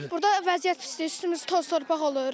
Burda vəziyyət pisdir, üstümüz toz-torpaq olur.